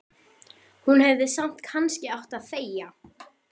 Hún hefði samt kannski átt að þegja.